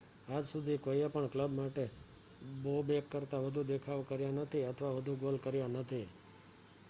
આજ સુધી કોઈએ પણ કલબ માટે બોબેક કરતા વધુ દેખાવ કર્યા નથી અથવા વધુ ગોલ કર્યા નથી